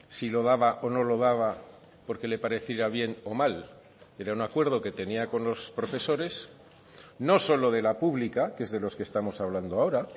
si lo daba o no lo daba porque le pareciera bien o mal era un acuerdo que tenía con los profesores no solo de la pública que es de los que estamos hablando ahora